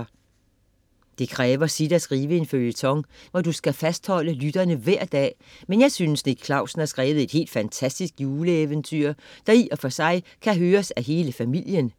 - Det kræver sit at skrive en føljeton, hvor du skal fastholde lytterne hver dag, men jeg synes, at Nick Clausen har skrevet et helt fantastisk juleeventyr, der i og for sig kan høres af hele familien.